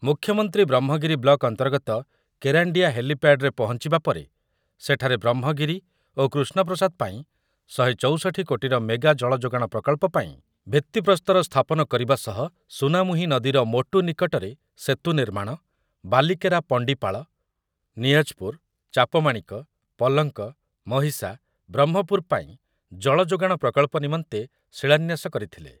ମୁଖ୍ୟମନ୍ତ୍ରୀ ବ୍ରହ୍ମଗିରି ବ୍ଲକ ଅନ୍ତର୍ଗତ କେରାଣ୍ଡି ହେଲିପ୍ୟାଡ୍‌ରେ ପହଞ୍ଚିବା ପରେ ସେଠାରେ ବ୍ରହ୍ମଗିରି ଓ କୃଷ୍ଣପ୍ରସାଦ ପାଇଁ ଶହେ ଚୌଷଠି କୋଟିର ମେଗା ଜଳଯୋଗାଣ ପ୍ରକଳ୍ପ ପାଇଁ ଭିତ୍ତିପ୍ରସ୍ତର ସ୍ଥାପନ କରିବା ସହ ସୁନାମୁହିଁ ନଦୀର ମୋଟୁ ନିକଟରେ ସେତୁ ନିର୍ମାଣ, ବାଲିକେରା ପଣ୍ଡିପାଳ, ନିଆଜପୁର, ଚାପମାଣିକ, ପଲଙ୍କ, ମହିଷା, ବ୍ରହ୍ମପୁର ପାଇଁ ଜଳଯୋଗାଣ ପ୍ରକଳ୍ପ ନିମନ୍ତେ ଶିଳାନ୍ୟାସ କରିଥିଲେ ।